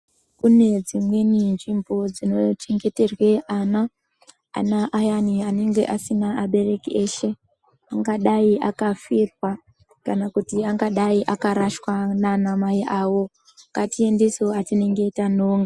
Kune dzimweni nzvimbo dzinochengeterwe ana, ana ayani anonga asina abereki eshe angadai akafirwa kana kuti angadai akarashwa nana mai awo ngatiendesewo atinonga tanonga.